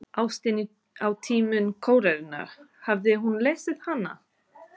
Ástin á tímum kólerunnar, hafði hún lesið hana?